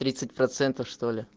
тридцать процентов что ли